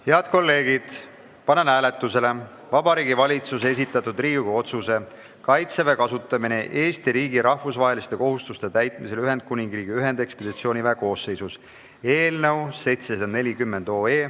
Head kolleegid, panen hääletusele Vabariigi Valitsuse esitatud Riigikogu otsuse "Kaitseväe kasutamine Eesti riigi rahvusvaheliste kohustuste täitmisel Ühendkuningriigi ühendekspeditsiooniväe koosseisus" eelnõu 740.